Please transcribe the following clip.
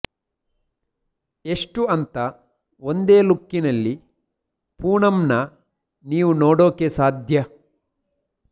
ಎಷ್ಟು ಅಂತ ಒಂದೇ ಲುಕ್ ನಲ್ಲಿ ಪೂನಂನ ನೀವು ನೋಡೋಕೆ ಸಾಧ್ಯ